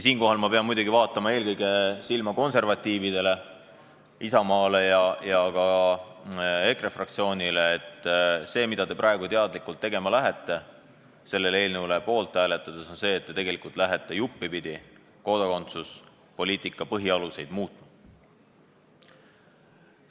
Siinkohal ma pean muidugi vaatama eelkõige silma konservatiividele, Isamaale ja ka EKRE fraktsioonile: see, mida te praegu teadlikult tegema lähete selle eelnõu poolt hääletades, on tegelikult see, et te hakkate juppipidi kodakondsuspoliitika põhialuseid muutma.